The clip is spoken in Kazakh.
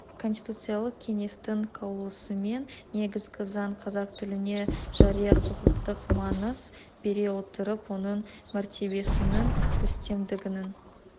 конституциялық кеңестің қаулысымен негізгі заң қазақ тіліне жария-құқықтық маңыз бере отырып оның мәртебесінің үстемдігінің